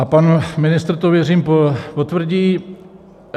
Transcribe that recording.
A pan ministr to, věřím, potvrdí.